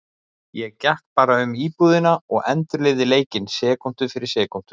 Ég gekk bara um íbúðina og endurlifði leikinn sekúndu fyrir sekúndu.